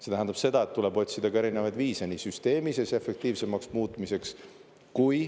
See tähendab seda, et tuleb otsida ka erinevaid viise süsteemi efektiivsemaks muutmiseks.